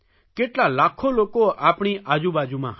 કેટલા લાખો લોકો આપણી આજુબાજુમાં હશે